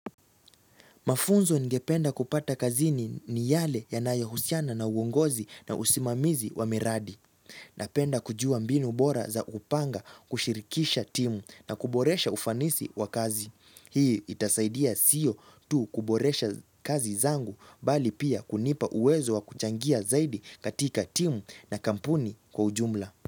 Mafunzo ningependa kupata kazini ni yale yanayohusiana na uongozi na usimamizi wa miradi. Napenda kujua mbinu bora za upanga kushirikisha timu na kuboresha ufanisi wa kazi. Hii itasaidia sio tu kuboresha kazi zangu bali pia kunipa uwezo wa kuchangia zaidi katika timu na kampuni kwa ujumla.